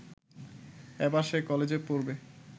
এবার সে কলেজে পড়বে